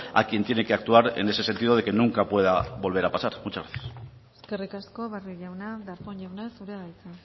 a quien tiene que actuar en ese sentido de que nunca pueda volver a pasar muchas gracias eskerrik asko barrio jauna darpón jauna zurea da hitza